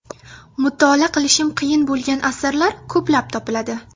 Mutolaa qilishim qiyin bo‘lgan asarlar ko‘plab topiladi.